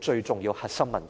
最重要的核心問題。